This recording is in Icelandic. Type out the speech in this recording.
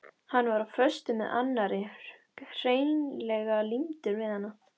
Hann var á föstu með annarri, hreinlega límdur við hana.